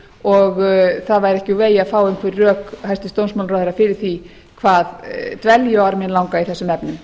og það væri ekki úr vegi að fá einhver rök hæstvirtur dómsmálaráðherra fyrir því hvað dvelji orminn langa í þessum efnum